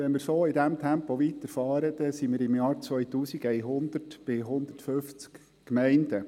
Wenn wir in diesem Tempo weiterfahren, sind wir im Jahr 2100 bei 150 Gemeinden.